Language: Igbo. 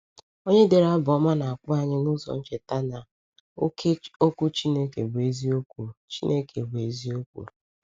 Onye dere Abụ Ọma na-akpọ anyị n’ụzọ ncheta na ‘oke Okwu Chineke bụ eziokwu.’ Chineke bụ eziokwu.’